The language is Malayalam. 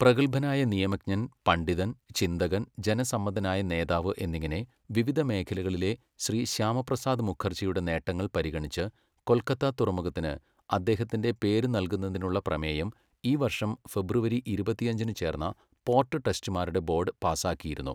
പ്രഗത്ഭനായ നിയമജ്ഞൻ, പണ്ഡിതൻ, ചിന്തകൻ, ജനസമ്മതനായ നേതാവ് എന്നിങ്ങനെ വിവിധ മേഖലകളിലെ ശ്രീ ശ്യാമപ്രസാദ് മുഖർജിയുടെ നേട്ടങ്ങൾ പരിഗണിച്ച്, കൊൽക്കത്ത തുറമുഖത്തിന് അദ്ദേഹത്തിന്റെ പേരുനൽകുന്നതിനുള്ള പ്രമേയം ഈ വർഷം ഫെബ്രുവരി ഇരുപത്തഞ്ചിന് ചേർന്ന പോട്ട് ട്രസ്റ്റിമാരുടെ ബോഡ് പാസാക്കിയിരുന്നു.